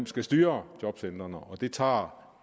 skal styre jobcentrene og det tager